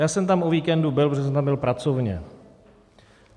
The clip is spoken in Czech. Já jsem tam o víkendu byl, protože jsem tam byl pracovně.